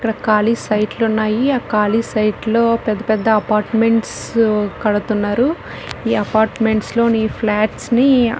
ఇక్కడ కాలి సైట్ లు ఉన్నాయి ఆ కాలి సైట్ లో పెద్ద పెద్ద అపార్ట్మెంట్స్ కడుతున్నారు ఈ అపార్ట్మెంట్స్ లోని ఫ్లాట్స్ నీ --